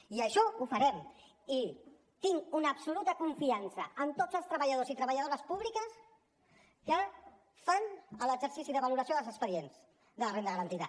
i això ho farem i tinc una absoluta confiança en tots els treballadors i treballadores públics que fan l’exercici de valoració dels expedients de la renda garantida